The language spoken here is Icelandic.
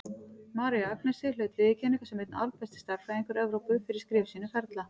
María Agnesi naut viðurkenningar sem einn albesti stærðfræðingur Evrópu, fyrir skrif sín um ferla.